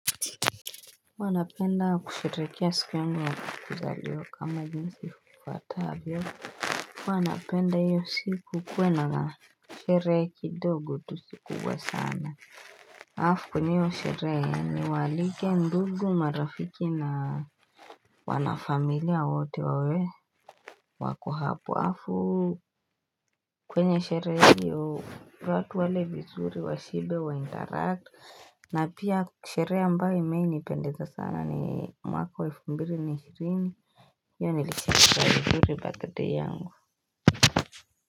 Huwa napenda kusherehekea siku yangu ya kuzaliwa kama jinsi kufatavyo huwa napenda hiyo siku kuwana sherehe kidogo tu sikubwa sana Alafu kwenye hio sherehe ni waalike ndugu marafiki na wanafamilia wote wawe wako hapo afu kwenye sherehe iyo watu wale vizuri wa shibe wa interact na pia sherehe ambayo ime ni pendeza sana ni mwaka wa 2020 Iyo nilisikia vizuri birthday yangu.